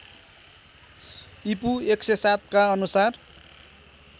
ईपू १००७ का अनुसार